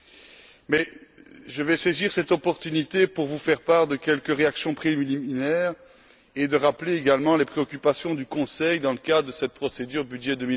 Je vais tout de même saisir cette opportunité pour vous faire part de quelques réactions préliminaires et pour rappeler également les préoccupations du Conseil dans le cadre de cette procédure budget